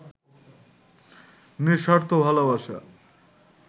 'নিঃস্বার্থ ভালোবাসা'